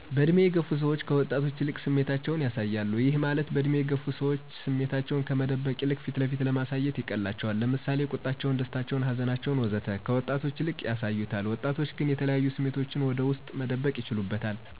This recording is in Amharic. በእድሜ የገፉ ሰዎች ከወጣቶች ይልቅ ስሜታቸውን ያሳያሉ፤ ይህ ማለት በእድሜ የገፉ ሰዎች ስሜታቸውን ከመቆጠብ ይልቅ ፊት ለፊት ማሳየት ይቀላቸዋል። ለምሳሌ፦ ቁጣቸውን፣ ደስታቸውን፣ ሀዘናቸውን፣ ወዘተ... ከወጣት ይልቅ ያሳዩታል። ወጣቶች ግን የተለያዩ ስሜቶቹን ወደ ውስጡ መደበቅ ይችልበታል።